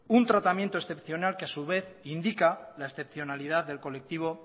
un tratamiento excepcional que a su vez indica la excepcionalidad del colectivo